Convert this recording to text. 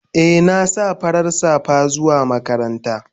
Eh na sa farar safa zuwa makaranta.